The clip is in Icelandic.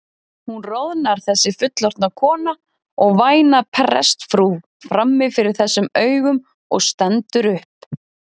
Hún roðnar þessi fullorðna kona og væna prestsfrú frammi fyrir þessum augum og stendur upp.